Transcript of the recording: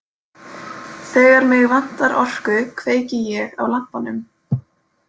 Þegar mig vantar orku kveiki ég á lampanum.